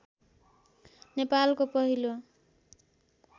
नेपालको पहिलो